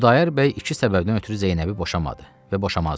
Xudayar bəy iki səbəbdən ötrü Zeynəbi boşamadı və boşamazdı.